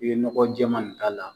I be nɔgɔ jɛman de k'a la.